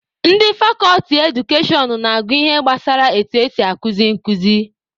Ndị fakọlti Edukashọn na-agụ ihe gbasara etu esi akuzi nkuzi